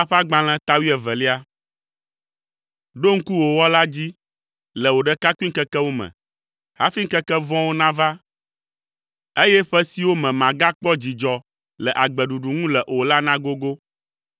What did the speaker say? Ɖo ŋku wò Wɔla dzi le wò ɖekakpuiŋkekewo me, hafi ŋkeke vɔ̃wo nava eye ƒe siwo me màgakpɔ dzidzɔ le agbeɖuɖu ŋu le o la nagogo.